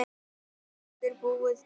Jónsdóttir búið til.